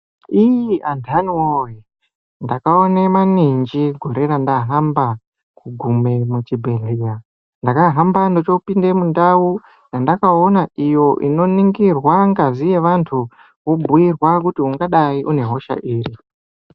Iii antani woye, ndakaone maninji gore randahamba kugume muchibhedhlera. Ndakahamba ndochoopinde mundau yandakaona iyo inoningirwa ngazi yevantu, wobhiurwa kuti ungadai une hosha iri.